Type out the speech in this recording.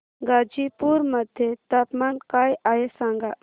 गाझीपुर मध्ये तापमान काय आहे सांगा